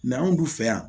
anw dun fɛ yan